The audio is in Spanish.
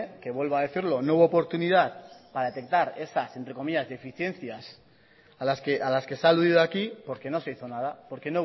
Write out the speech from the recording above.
que vuelvo a decirlo no hubo oportunidad para detectar esas deficiencias a las que se ha aludido aquí porque no se hizo nada porque